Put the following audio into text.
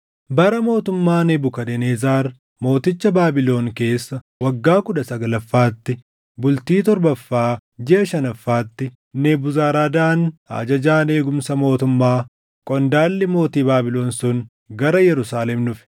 Bara mootummaa Nebukadnezar mooticha Baabilon keessa waggaa kudha saglaffaatti, bultii torbaffaa jiʼa shanaffaatti, Nebuzaradaan ajajaan eegumsa mootummaa, qondaalli mootii Baabilon sun gara Yerusaalem dhufe.